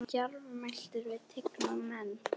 Hann var djarfmæltur við tigna menn.